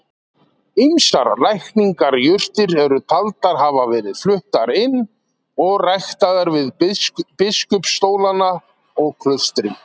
Ýmsar lækningajurtir eru taldar hafa verið fluttar inn og ræktaðar við biskupsstólana og klaustrin.